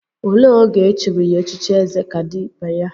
Olee oge echiri ya echichi Ezekaibeya?